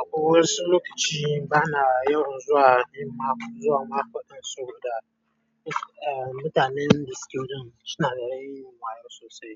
akwai wasu lokaci bana yawan zuwa yin makwaɗa zuwa makwaɗa sosai da mutanen da suke so suna da yawan yin makwaɗa sosai.